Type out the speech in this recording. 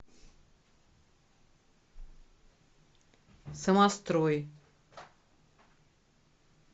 самострой